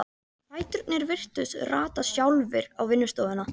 Fæturnir virtust rata sjálfir á vinnustofuna.